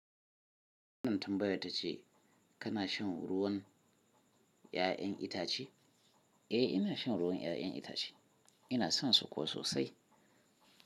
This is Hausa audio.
Wannan tambaya ta ce kana shan ruwan 'ya'yan itace? Eh, ina shan ruwan 'ya'yan itace. Ina son su kuwa sosai.